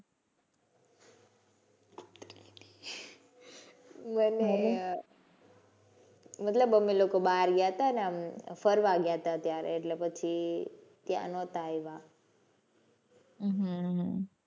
મતલબ અમે લોકો બહાર ગયા તા ને અમે ફરવા ગયા તા ત્યારે એટલે ત્યાં નહોતા આવ્યા.